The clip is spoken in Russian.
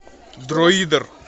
друиды